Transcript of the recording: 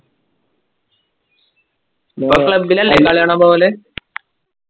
club ലല്ലേ കളി കാണാൻ പോവല്